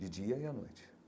De dia e à noite.